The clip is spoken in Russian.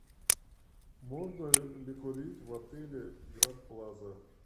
можно ли курить в отеле гранд плаза